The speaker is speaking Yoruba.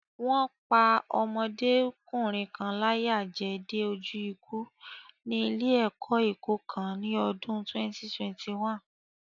Wọ́n pá ọmọdékùnrin kan láyà jẹ dé ojú ikú ní ilé-ẹ̀kọ́ Èkó kan ní ọdún 2021.